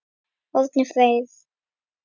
Árni Freyr.